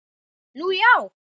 Nú, já!